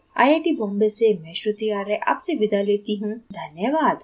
यह स्क्रिप्ट विकास द्वारा अनुवादित है आई आई टी बॉम्बे से मैं श्रुति आर्य आपसे विदा लेती हूँ धन्यवाद